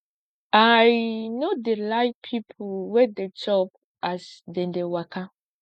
i no dey like pipo wey dey chop as dem dey waka